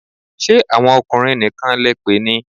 Ṣé àwọn ọkùnrin nìkan lẹ pè ni?